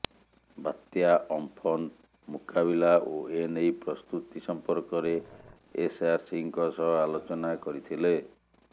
ବାତ୍ୟା ଅମ୍ପନ୍ ମୁକାବିଲା ଓ ଏନେଇ ପ୍ରସ୍ତୁତି ସମ୍ପର୍କରେ ଏସଆରସିଙ୍କ ସହ ଆଲୋଚନା କରିଥିଲେ